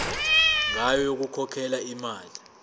ngayo yokukhokhela imali